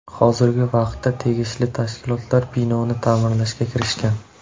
Hozirgi vaqtda tegishli tashkilotlar binoni ta’mirlashga kirishgan.